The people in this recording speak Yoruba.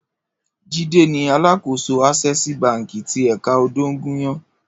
Jide ni àlákósó Asèsí bànkí ti èkà Odogunyan